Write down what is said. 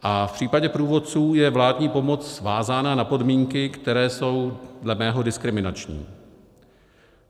A v případě průvodců je vládní pomoc vázána na podmínky, které jsou dle mého diskriminační.